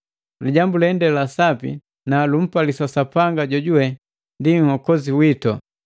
Lijambu lende la sapi na lumpalisa Sapanga jojuwe ndi Nhokozi witu,